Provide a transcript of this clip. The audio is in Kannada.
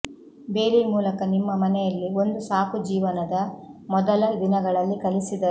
ಬೇಲಿ ಮೂಲಕ ನಿಮ್ಮ ಮನೆಯಲ್ಲಿ ಒಂದು ಸಾಕು ಜೀವನದ ಮೊದಲ ದಿನಗಳಲ್ಲಿ ಕಲಿಸಿದರು